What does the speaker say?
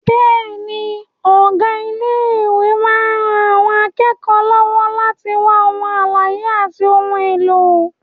Bẹ́ẹ̀ni, ọ̀gá ilé ìkàwé máa ń ran àwọn akẹ́kọ̀ọ́ lọ́wọ́ láti wá ohun àlàyé àti ohun èlò.